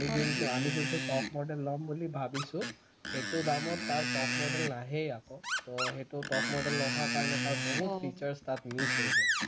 আমি যোনটো আমি যোনটো top model লম বুলি ভৱিছো সেইটো দামত তাৰ top model নাহেই আকৌ তো সেইটো top model নহাৰ কাৰণে তাৰ বহুত features তাত miss হৈ যায়